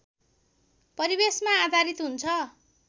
परिवेशमा आधारित हुन्छ